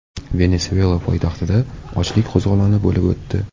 Venesuela poytaxtida ochlik qo‘zg‘oloni bo‘lib o‘tdi .